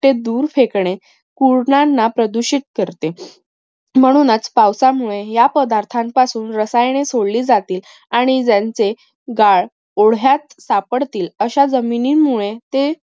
ते दूर फेकणे. ला प्रदूषित करते. म्हणूनच पावसामुळे या पदार्थां पासून रसायने सोडली जातील आणि ज्यांचे गाय ओढ्यात सापडतील अश्या जमिनींमुळे